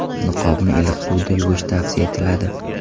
Niqobni iliq suvda yuvish tavsiya etiladi.